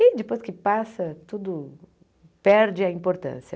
E depois que passa, tudo perde a importância.